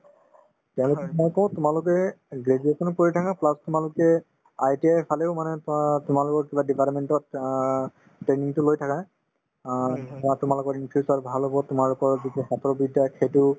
তেওঁলোকক মই কওঁ তোমালোকে graduation ও কৰি থাকা plus তোমালোকে ITI ফালেও মানে ধৰা তোমাৰ লগত কিবা department তত অ training তো লৈ থাকা অ অ তোমালোকৰ in future ভাল হব তোমালোকৰ যিটো হাতৰ বিদ্যা সেইটো